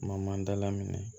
Ma dala minɛ